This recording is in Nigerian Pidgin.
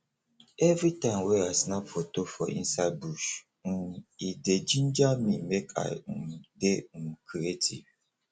every time wey i snap foto for inside bush um e dey jinja me make i um dey um creative